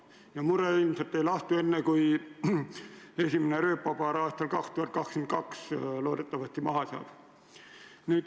Ja mure ilmselt ei lahtu enne, kui esimene rööpapaar aastal 2022 loodetavasti maha saab.